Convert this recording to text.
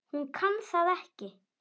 Hún kann það ekki.